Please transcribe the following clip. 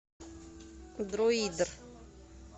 друидер